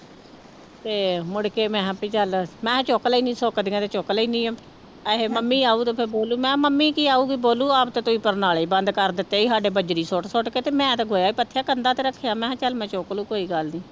ਤੇ ਮੁੜ ਕੇ ਮੈਂ ਕਿਹਾ ਵੀ ਚੱਲ ਮੈਂ ਚੁੱਕ ਲੈਨੀ ਸੁੱਕਦੀਆਂ ਤੇ ਚੁੱਕ ਲੈਂਦੀ ਹਾਂ, ਕਹੇ ਮੰਮੀ ਆਊ ਉਦੋਂ ਫਿਰ ਬੋਲੂ ਮੈਂ ਕਿਹਾ ਮੰਮੀ ਕੀ ਆਊਗੀ ਬੋਲੂ ਆਪ ਤੇ ਤੁਸੀਂ ਪਰਨਾਲੇ ਬੰਦ ਕਰ ਦਿੱਤੇ ਸੀ ਸਾਡੇ ਬਜ਼ਰੀ ਸੁੱਟ ਸੁੱਟ ਕੇ ਤੇ ਮੈਂ ਤੇ ਗੋਹਾ ਹੀ ਪੱਥਿਆ ਕੰਧਾਂ ਤੇ ਰੱਖਿਆ, ਮੈਂ ਕਿਹਾ ਚੱਲ ਮੈਂ ਚੁੱਕ ਲਊਂ ਕੋਈ ਗੱਲ ਨੀ।